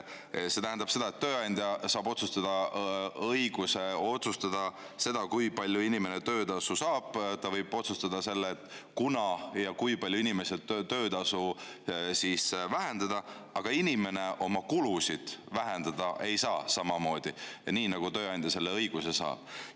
See tähendab seda, et tööandja saab õiguse otsustada seda, kui palju inimene töötasu saab, ta võib otsustada, millal ja kui palju inimesel töötasu vähendada, aga inimene oma kulusid vähendada ei saa niimoodi, nagu tööandja selle õiguse saab.